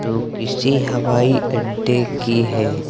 वो किसी हवाई अड्डे की है।